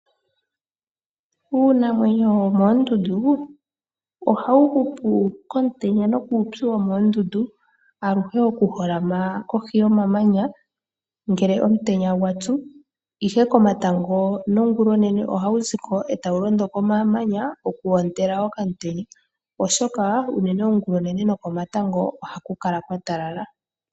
Iinamwenyo yomoondundu ohayi hupu kuupyu nokomutenya gwomoondundu aluhe hayi holama kohi yomamanya ngele omutenya gwatsu, ihe komatango no ngulonene ohayi ziko etayilondo komamanya opo yi ondele omutenya oshoka ongulonene noko matango ohaku kala kwatalala.